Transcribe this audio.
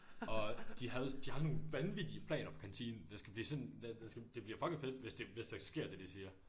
Og de havde de har nogle vanvittige planer for kantinen det skal blive sådan den skal det bliver fucking fedt hvis det hvis det sker det de siger